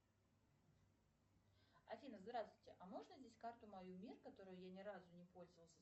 афина здравствуйте а можно здесь карту мою мир которой я ни разу не пользовалась